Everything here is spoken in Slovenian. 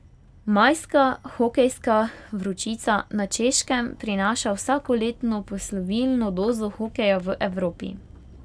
Majska hokejska vročica na Češkem prinaša vsakoletno poslovilno dozo hokeja v Evropi.